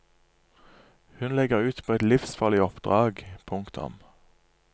Hun legger ut på et livsfarlig oppdrag. punktum